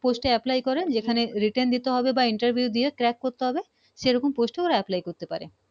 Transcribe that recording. Post এ Apply করে সেখানে Written দিতে হবে বা Interview দিয়ে Crack করতে হবে সে রকম প্রশ্ন Apply করতে পারে